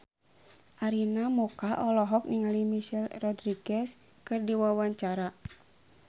Arina Mocca olohok ningali Michelle Rodriguez keur diwawancara